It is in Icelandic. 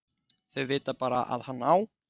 Þau vita bara að hann á